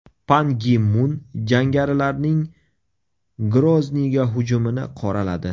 Pan Gi Mun jangarilarning Grozniyga hujumini qoraladi.